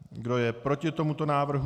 Kdo je proti tomuto návrhu?